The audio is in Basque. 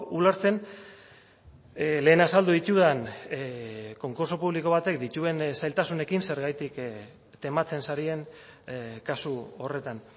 ulertzen lehen azaldu ditudan konkurtso publiko batek dituen zailtasunekin zergatik tematzen zaren kasu horretan